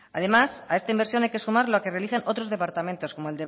además a esta inversión hay que sumar la que realizan otros departamentos como